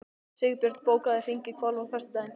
Sigbjörn, bókaðu hring í golf á föstudaginn.